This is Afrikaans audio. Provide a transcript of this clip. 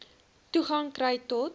toegang kry tot